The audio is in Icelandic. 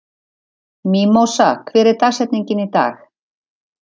Mímósa, hver er dagsetningin í dag?